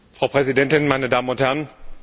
Frau Präsidentin, meine Damen und Herren!